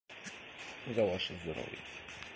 я ваш герой